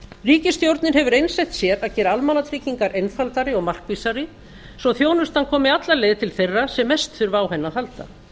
ríkisstjórnin hefur einsett sér að gera almannatryggingar einfaldari og markvissari svo þjónustan komi alla leið til þeirra sem mest þurfa á henni að halda